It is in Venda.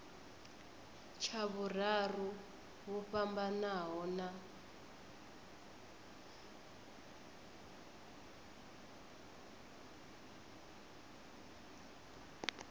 tsha vhuraru vho fhambanaho na